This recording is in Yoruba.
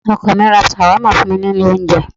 Ọkọ mi ra Shawarma fún mi ní ilé oúnjẹ.